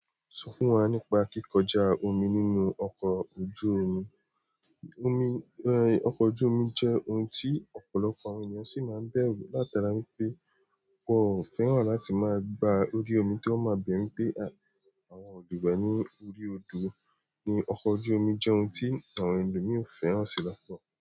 Sọ fún wa nípa kíkọjá omi nínú ọkọ̀ ojú omi. Omi, ẹ, ọkọ ojú omi jẹ́ ohun tí ọ̀pọ̀lọpọ̀ àwọn ènìyàn sì máa ń bẹ̀rù látara wípé wọn ò fẹ́ràn láti máa gba orí omi tó ri wọn máa bẹ̀rù pé àwọn olùgbẹ́ ní orí odò. Ni ọkọ̀ ojú omi jẹ́ ohun tí àwọn ẹlòmíì ò fẹ́ràn sí lọ́pọ̀